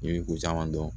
I bi ko caman dɔn